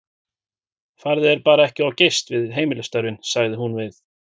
Farðu þér bara ekki of geyst við heimilisstörfin, sagði hún við